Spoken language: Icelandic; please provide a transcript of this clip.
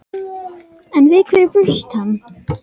En við hverju bjóst hann?